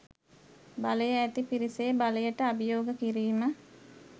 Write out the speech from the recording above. බලය ඇති පිරිසේ බලයට අභියෝග කිරීම